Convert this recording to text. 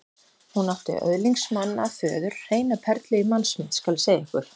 Hún átti öðlingsmann að föður, hreina perlu í mannsmynd, skal ég segja ykkur.